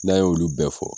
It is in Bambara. N'a ye olu bɛɛ fɔ